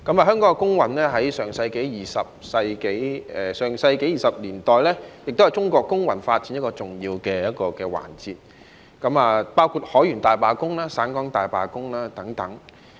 香港工運在上世紀20年代是中國工運發展的一個重要環節，包括海員大罷工及省港大罷工等。